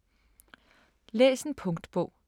Læs en punktbog